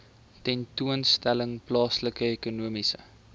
tentoonstelling plaasvind ekonomiese